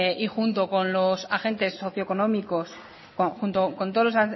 y junto con todos los